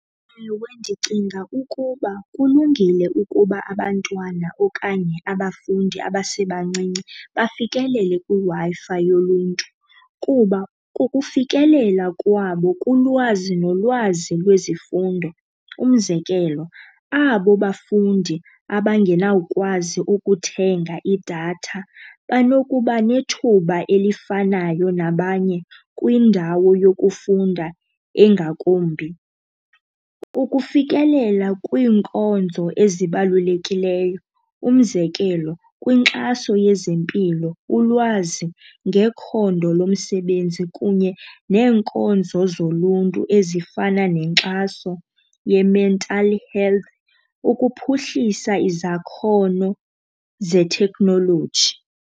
Ewe, ndicinga ukuba kulungile ukuba abantwana okanye abafundi abasebancinci bafikelele kwiWi-Fi yoluntu kuba kukufikelela kwabo kulwazi nolwazi lwezifundo. Umzekelo, abo bafundi abangenawukwazi ukuthenga idatha banokuba nethuba elifanayo nabanye kwindawo yokufunda engakumbi. Ukufikelela kwiinkonzo ezibalulekileyo umzekelo kwinkxaso yezempilo, ulwazi ngekhondo lomsebenzi kunye neenkonzo zoluntu ezifana nenkxaso ye-mental health ukuphuhlisa izakhono zeteknoloji.